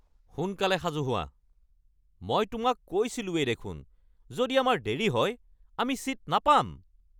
সোনকালে সাজু হোৱা! মই তোমাক কৈছিলোঁৱেই দেখোন যদি আমাৰ দেৰী হয় আমি ছীট নাপাম।